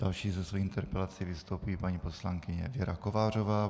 Další se svojí interpelací vystoupí paní poslankyně Věra Kovářová.